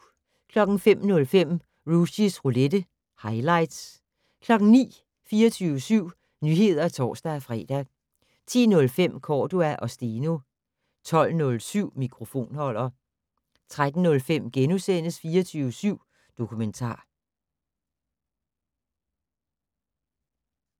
05:05: Rushys roulette - highlights 09:00: 24syv Nyheder (tor-fre) 10:05: Cordua & Steno 12:07: Mikrofonholder 13:05: 24syv Dokumentar *